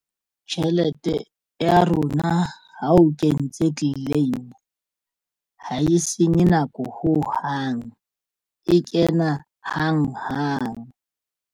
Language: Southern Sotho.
Tjhelete ya rona ha o kentse claim ha e senye nako ho hang e kena hang hang.